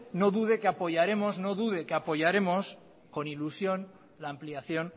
no dude que apoyaremos con ilusión la ampliación